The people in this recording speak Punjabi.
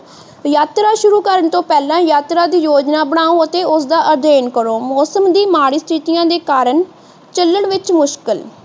ਯਾਤਰਾ ਸ਼ੁਰੂ ਕਰਨ ਤੋਂ ਪਹਿਲਾਂ ਯਾਤਰਾ ਦੀ ਯੋਜਨਾ ਬਣਾਓ ਅਤੇ ਉਸਦਾ ਅਧਿਐਨ ਕਰੋ ਮੌਸਮ ਦੀ ਮਾੜੀ ਸਥਿਤੀਆਂ ਦੇ ਕਾਰਨ ਚਲਣ ਵਿੱਚ ਮੁਸ਼ਕਿਲ